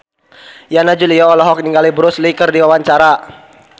Yana Julio olohok ningali Bruce Lee keur diwawancara